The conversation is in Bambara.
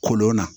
Kolon na